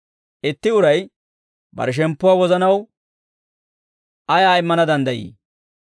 Itti uray bare shemppuwaa wozanaw ayaa immana danddayi?